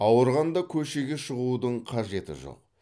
ауырғанда көшеге шығудың қажеті жоқ